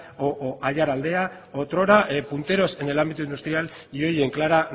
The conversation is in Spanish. o aiaraldea otrora punteros en el ámbito industrial y hoy en clara